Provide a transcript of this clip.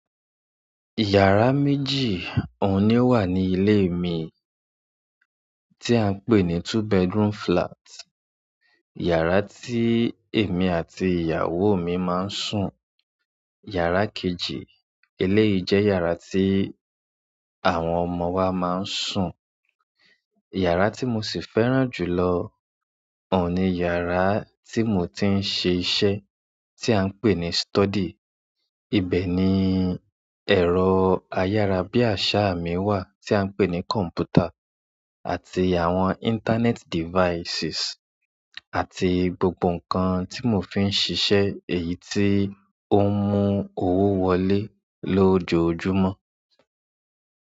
Yàrá méjì ohun nì o wà ní ilé mi tí à ń pè ní two bedroom flat. Yàrá tí èmi àti ìyàwó mi máa ń sùn. Yàrá kejì eleyìí jẹ́ yàrá tí àwọn ọmọ wa máa ń sùn. Yàrá tí mo sì fẹ́ràn jù lọ ohun nì yàrá tí mo ti ń ṣe iṣẹ́ tí à ń pè ní study. Ibẹ̀ ni ẹ̀rọ ayára bí àṣá mi wà tí à ń pè ní kọ̀m̀pútà àti àwọn internet devices àti gbogbo nǹkan tí mo fi ń ṣiṣẹ́ èyí tí ó ń mú owó wọlé lójoojúmọ́.